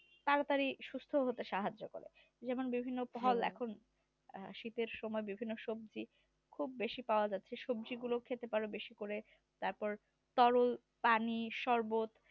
তাড়াতাড়ি সুস্থ হতে সাহায্য করে যেমন বিভিন্ন ফল এখন শীতের সময় বিভিন্ন সবজি খুব বেশি পাওয়া যাচ্ছে সবজি গুলো খেতে পারো বেশি করে তারপর তরল পানি শরবত